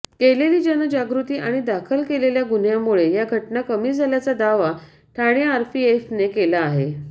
केलेली जनजागृती आणि दाखल केलेल्या गुन्ह्यांमुळे या घटना कमी झाल्याचा दावा ठाणे आरपीएफने केला आहे